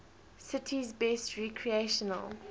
city's best recreational